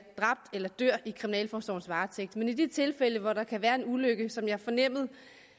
dræbt eller dør i kriminalforsorgens varetægt men i de tilfælde hvor det kan være en ulykke som jeg fornemmede